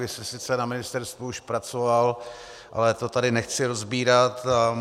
Vy jste sice na ministerstvu už pracoval, ale to tady nechci rozebírat.